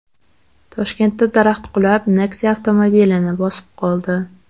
Toshkentda daraxt qulab, Nexia avtomobilini bosib qoldi .